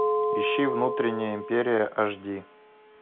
ищи внутренняя империя аш ди